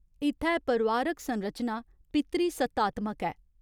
इत्थै परोआरिक संरचना पितृसत्तात्मक ऐ।